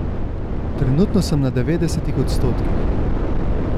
Trenutno sem na devetdesetih odstotkih.